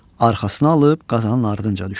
Arxasına alıb Qazanın ardınca düşdü.